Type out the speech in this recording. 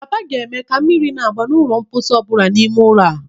Papa ga-eme ka mmiri na-agba n'ụlọ mposi ọ bụla n'ime ụlọ a.